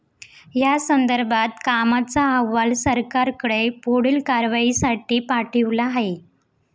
यासंदर्भात कामाचा अहवाल सरकारकडे पुढील कारवाईसाठी पाठविला आहे.